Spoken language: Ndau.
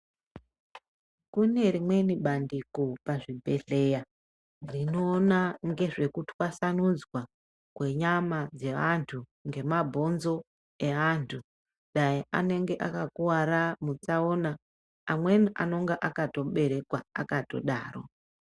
Kune rimweni bandiko pazvibhedhlera rinoona ngezve kutaswanudzwa kwenyama dzevantu nemabhonzo evantu anenge akakuvara mutsaona amweni anonga akatoberekwa akatodaro.